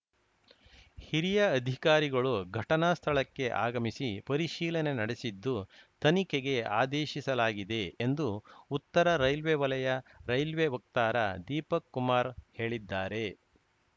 ಹಿರಿಯ ಅಧಿಕಾರಿಗಳು ಘಟನಾ ಸ್ಥಳಕ್ಕೆ ಆಗಮಿಸಿ ಪರಿಶೀಲನೆ ನಡೆಸಿದ್ದು ತನಿಖೆಗೆ ಆದೇಶಿಸಲಾಗಿದೆ ಎಂದು ಉತ್ತರ ರೈಲ್ವೆ ವಲಯ ರೈಲ್ವೆ ವಕ್ತಾರ ದೀಪಕ್‌ ಕುಮಾರ್‌ ಹೇಳಿದ್ದಾರೆ